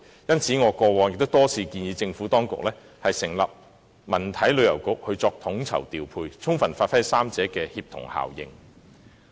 因此，我過往亦曾多次建議政府當局成立文體旅遊局作統籌調配，充分發揮三者的協同效應。